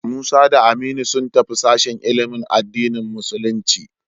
Musa da Aminu sun tafi sashen ilimin addinin musulunci.